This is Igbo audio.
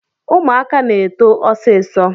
Ụmụaka na-eto ọsịsọ